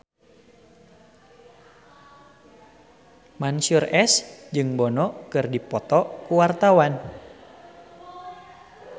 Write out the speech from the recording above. Mansyur S jeung Bono keur dipoto ku wartawan